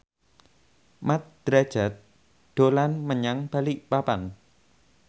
Mat Drajat dolan menyang Balikpapan